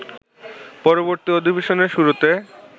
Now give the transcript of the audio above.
পরবর্তী অধিবেশনের শুরুতে